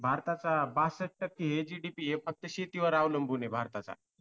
भारताचा बासष्ट टक्के JDP हे फक्त शेतीवर अवलंबून आहे भारताचा